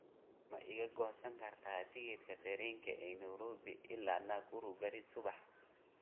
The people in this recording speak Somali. ma iga goosan kartaa tigidhka tareenka ee nairobi ilaa nakuru berri subax